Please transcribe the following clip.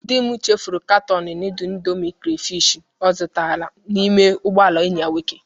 Di m chefuru katọọnụ nudul indomi karafish o zutara n'ime ụgbọala enyi ya nwoke.